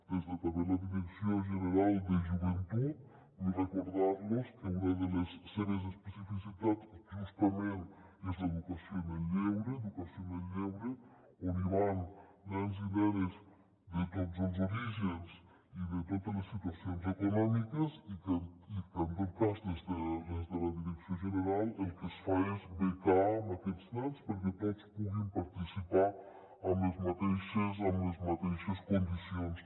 des de la direcció general de joventut vull recordar los que una de les seves especificitats justament és l’educació en el lleure educació en el lleure on hi van nens i nenes de tots els orígens i de totes les situacions econòmiques i que en tot cas des de la direcció general el que es fa és becar aquests nens perquè tots puguin participar en les mateixes condicions